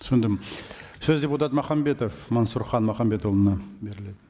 түсіндім сөз депутат махамбетов мансұрхан махамбетұлына беріледі